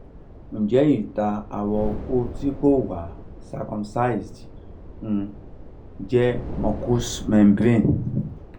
nje ita awo oko ti ko wa circumcised um je mucus membrane?